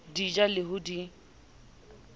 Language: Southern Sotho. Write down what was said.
di ja le ho di